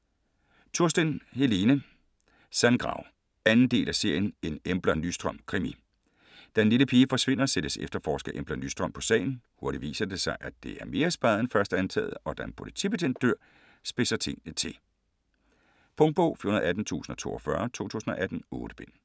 Tursten, Helene: Sandgrav 2. del af serien En Embla Nyström krimi. Da en lille pige forsvinder, sættes efterforsker Embla Nyström på sagen. Hurtigt viser det sig, at det er mere speget end først antaget, og da en politibetjent dør, spidse tingene til. Punktbog 418042 2018. 8 bind.